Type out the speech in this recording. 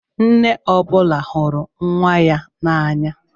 Nne ọ bụla hụrụ nwa ya n'anya.